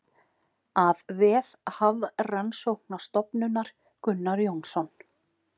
Af vef Hafrannsóknastofnunar Gunnar Jónsson.